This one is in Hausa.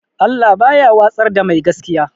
Allah baya watsar da mai gaskiya